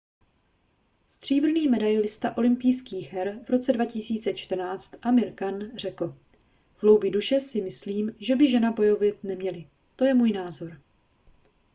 stříbrný medailista olympijských her v roce 2014 amir khan řekl v hloubi duše si myslím že by ženy bojovat neměly to je můj názor